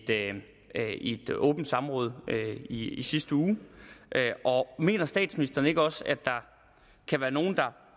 i et åbent samråd i i sidste uge mener statsministeren ikke også at der kan være nogle der